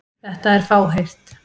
Þetta er fáheyrt.